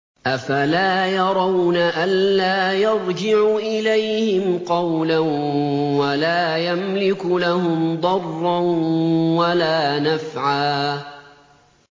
أَفَلَا يَرَوْنَ أَلَّا يَرْجِعُ إِلَيْهِمْ قَوْلًا وَلَا يَمْلِكُ لَهُمْ ضَرًّا وَلَا نَفْعًا